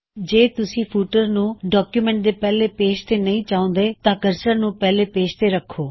ਜੇ ਤੁਸੀਂ ਫੁਟਰ ਨੂੰ ਡੌਕਯੁਮੈੱਨਟ ਦੇ ਪਹਿਲੇ ਪੇਜ ਤੇ ਨਹੀ ਚਾਹੁੰਦੇ ਤਾਂ ਕਰਸਰ ਨੂੰ ਪਹਿਲੇ ਪੇਜ ਤੇ ਰੱਖੋ